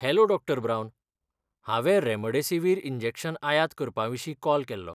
Hello डॉ. ब्रावन. हांवें रेमडेसिवीर इंजेक्शन आयात करपाविशीं कॉल केल्लो.